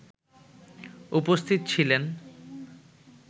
উপস্থিত ছিলেন